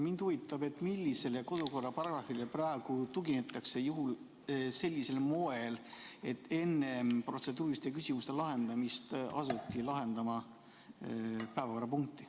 Mind huvitab, millisele kodukorraparagrahvile praegu tuginetakse sellisel moel, et enne protseduuriliste küsimuste lahendamist asuti käsitlema päevakorrapunkti.